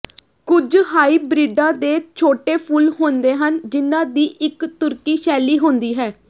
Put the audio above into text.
ਕੁਝ ਹਾਈਬ੍ਰਿਡਾਂ ਦੇ ਛੋਟੇ ਫੁੱਲ ਹੁੰਦੇ ਹਨ ਜਿਨ੍ਹਾਂ ਦੀ ਇੱਕ ਤੁਰਕੀ ਸ਼ੈਲੀ ਹੁੰਦੀ ਹੈ